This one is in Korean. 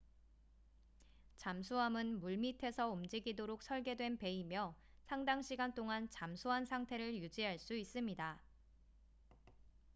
잠수함은 물밑에서 움직이도록 설계된 배이며 상당 시간 동안 잠수한 상태를 유지할 수 있습니다